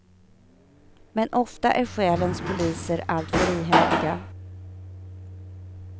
Men ofta är själens poliser alltför ihärdiga.